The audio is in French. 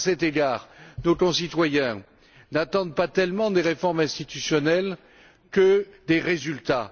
À cet égard, nos concitoyens n'attendent pas tant des réformes institutionnelles que des résultats.